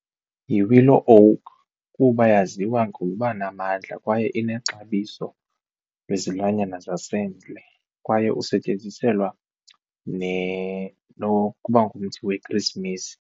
Yi-Willow Oak kuba yaziwa ngokuba namandla kwaye inexabiso lwezilwanyana zasendle kwaye usetyenziselwa nokuba ngumthi wekhrisimesi.